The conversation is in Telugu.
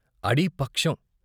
అడి పక్షం.